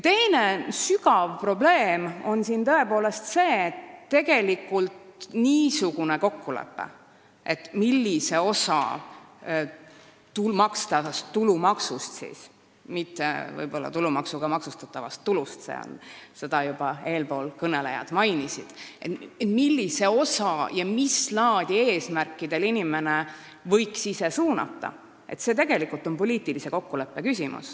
Teine sügav probleem on tõepoolest see, mis on poliitilise kokkuleppe küsimus: millist osa makstavast tulumaksust – mitte tulumaksuga maksustatavast tulust, nagu eespool kõnelnud juba mainisid – ja mis laadi eesmärkidel võiks inimene ise suunata.